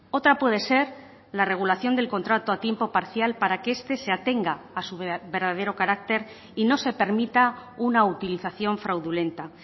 otra puede ser la regulación del contrato a tiempo parcial para que este se atenga a su verdadero carácter y no se permita una utilización fraudulenta